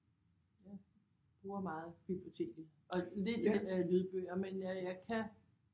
Jeg bruger meget biblioteket og lidt lydbøger men jeg kan